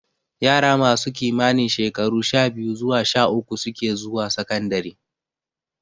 Yara masu kimanin shekaru sha-biyu zuwa sha-uku suke zuwa sakandare.